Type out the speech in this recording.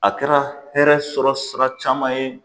A kɛra hɛrɛ sɔrɔ sira caman ye